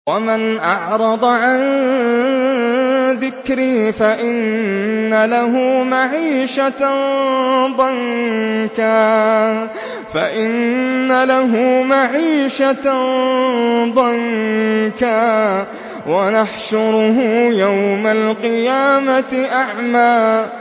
وَمَنْ أَعْرَضَ عَن ذِكْرِي فَإِنَّ لَهُ مَعِيشَةً ضَنكًا وَنَحْشُرُهُ يَوْمَ الْقِيَامَةِ أَعْمَىٰ